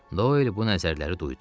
Doy bu nəzərləri duydu.